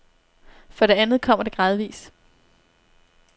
For det andet kommer det gradvis.